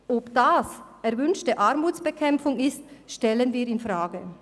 Ob das erwünschte Armutsbekämpfung ist, stellen wir infrage.